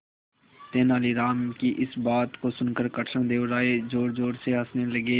तेनालीराम की इस बात को सुनकर कृष्णदेव राय जोरजोर से हंसने लगे